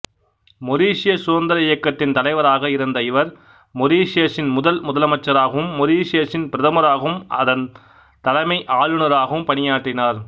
மொரிசிய சுதந்திர இயக்கத்தின் தலைவராக இருந்த இவர் மொரிசியசின் முதல் முதலமைச்சராகவும் மொரிசியசின் பிரதமராகவும் அதன் தலைமை ஆளுநராகவும் பணியாற்றினார்